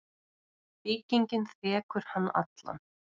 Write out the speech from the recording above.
Byggingin þekur hann allan.